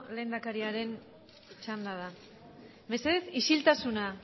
lehendakariaren txanda da mesedez isiltasuna